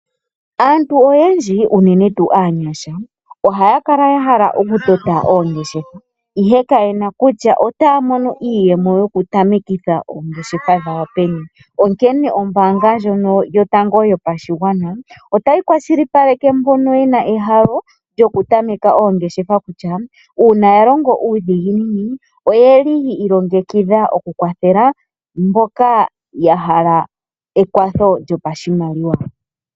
Aantu oyendji unene tuu aanyasha oha ya kala yahala oku tameka oongeshefa ihe kayena kutya otaya mono iiyemo yoku tamekitha oongeshefa dhawo peni ,onkene ombaanga ndjono yotango yopashigwana otayi kwashilipaleke mbono yena ehala lyoku tameka oongeshefa kutya uuna yalongo nuudhiginini oyeli yi ilongekidha oku kwathela mboka yahala ekwatho lyopashimaliwa.